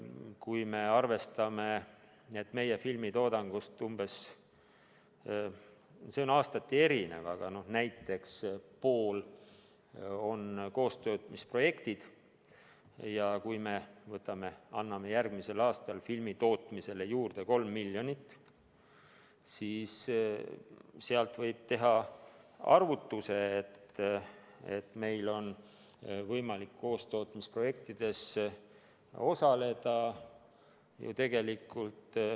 Kui me arvestame, et meie filmitoodangust umbes pool – see on aastati erinev – on kaastootmisprojektid, ja kui me anname järgmisel aastal filmitootmisele juurde 3 miljonit, siis võib teha arvutuse, et meil on võimalik kaastootmisprojektides osaleda ...